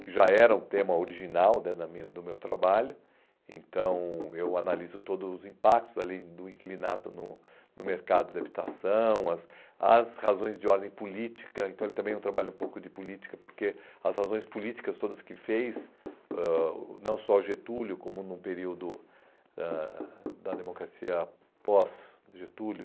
que já era um tema original né da minha do meu trabalho, então eu analiso todos os impactos ali do inquilinato no no mercado de habitação, as as razões de ordem política, então ele também trabalha um pouco de política, porque as razões políticas todas que fez, ãh não só Getúlio, como no período ãh da democracia pós-Getúlio,